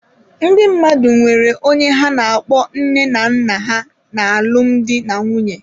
Ndị mmadụ nwere onye ha na-akpọ nne na nna ha n'alụmdi na nwunye.